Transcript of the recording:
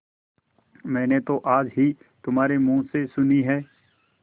मैंने तो आज ही तुम्हारे मुँह से सुनी है